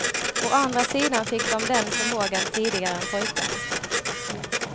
Å andra sidan fick de den förmågan tidigare än pojkarna.